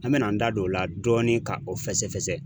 An mɛn'an da don o la dɔɔnin ka o fɛsɛ fɛsɛ.